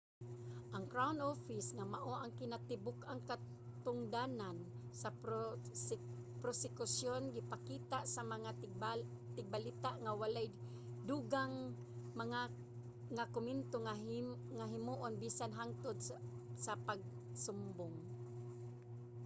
ang crown office nga mao ang kinatibuk-ang katungdanan sa prosekusyon gipakita sa mga tigbalita nga wala’y dugang nga komento nga himuon bisan hangtod sa pagsumbong